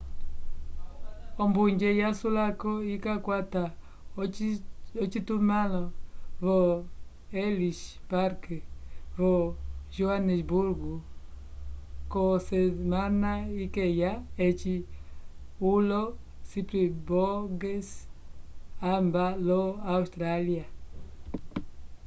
ombunje yasulako ikakwata ocitumãlo vo ellis park vo joanesburgo k'osemana ikeya eci olo springboks vamba lo austrália